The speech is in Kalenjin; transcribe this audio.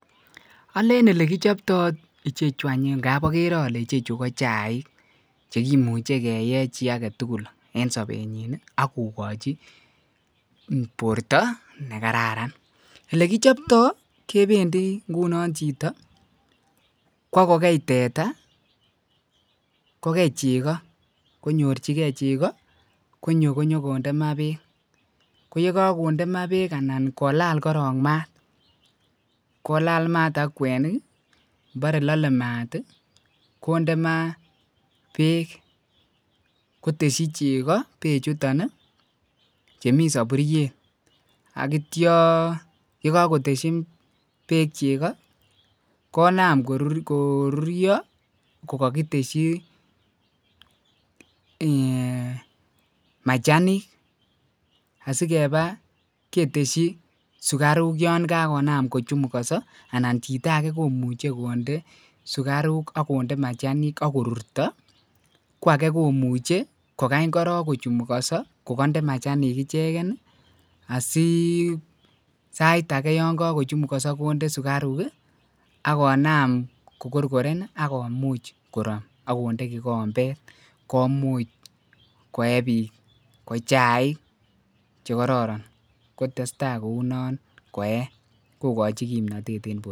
oleen olegichoptoo ichechu any ngaap ogere ole ichechu ko chaik chegimuche keyee chii agetugul en sobenyiin iih agogoji borto negararan, olegichoptoo kebendii ngunon chito kwogogei teta kogei chego konyorchigee chego konyo konyogonde maa beek, koyegagonde maa beek alan kolaal koroon maat, kolaal maat ak kwenik boree lole maat iih konde maa beek kotesyi chego beek chuton iih chemii soburyeet ak kityoo yegagoesyi beek chego, konaam koruryo kogogitesyii um eeeh um machanik asigeba ketesyi sugaruuk yon kagonaam kochumugoso anan chito age komuche konde sugaruuk ak konde machanik agorurto, kwage komuch kogany koroon kochumugoso kogonde machanik ichegen iih asii sait agee yon kochumugoso konde sugaruuk iih ak konam kogorgoren ak komuch koroon konde kigombeet komuch koee biik kochaik kogororon kotestai kounon koee kogochi kimnotet en borto.